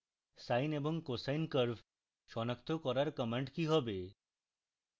sine এবং cosine curve সনাক্ত করার command কি হবে